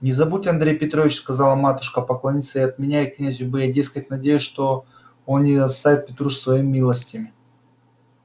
не забудь андрей петрович сказала матушка поклониться и от меня князю бы я дескать надеюсь что он не оставит петрушу своими милостями